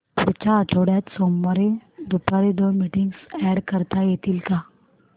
पुढच्या आठवड्यात सोमवारी दुपारी दोन मीटिंग्स अॅड करता येतील का